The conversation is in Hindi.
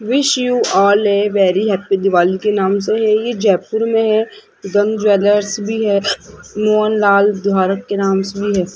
Wish you all a very happy Diwali के नाम से है ये जयपुर में है गम ज्वेलर्स भी है मोहन लाल दिहारक के नाम से भी है।